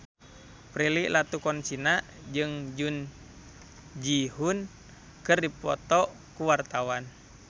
Prilly Latuconsina jeung Jun Ji Hyun keur dipoto ku wartawan